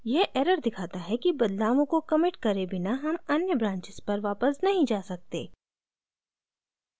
यह error दिखाता है कि बदलावों को कमिट करे बिना हम अन्य branches पर वापस नहीं जा सकते